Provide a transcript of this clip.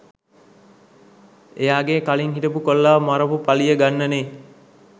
එයාගේ කලින් හිටපු කොල්ලව මරපු පලිය ගන්නනේ